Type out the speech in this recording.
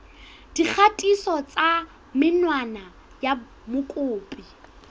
dikgatiso tsa menwana ya mokopi